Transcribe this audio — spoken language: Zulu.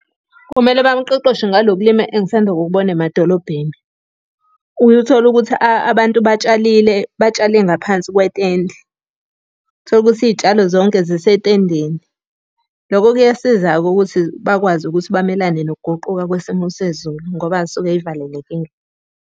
Kumele bamuqeqeshe ngalo kulima engisanda ukukubona emadolobheni. Uyothola ukuthi abantu batshalile, batshale ngaphansi kwetende. Uthole ukuthi iy'tshalo zonke zisetendeni. Loko kuyasiza-ke ukuthi bakwazi ukuthi bamelane nokuguquka kwesimo sezulu ngoba zisuke iy'valelekile.